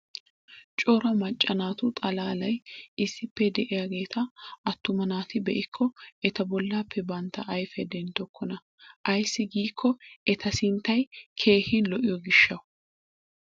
Cora macca naatu xalaalay issippe de'iyaageeta attuma naati be'ikko eta bollappe bantta ayfiya denttokkona. Ayssi giikko eta sinttay keehi lo'iyo gishshawu.